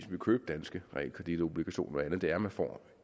vil købe danske realkreditobligationer og andet at man får